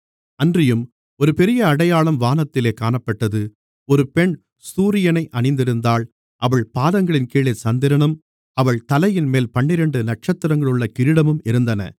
அன்றியும் ஒரு பெரிய அடையாளம் வானத்திலே காணப்பட்டது ஒரு பெண் சூரியனை அணிந்திருந்தாள் அவள் பாதங்களின் கீழே சந்திரனும் அவள் தலையின்மேல் பன்னிரண்டு நட்சத்திரங்களுள்ள கிரீடமும் இருந்தன